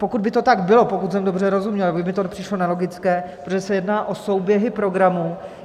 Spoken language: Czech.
Pokud by to tak bylo, pokud jsem dobře rozuměl, tak by mi to přišlo nelogické, protože se jedná o souběhy programů.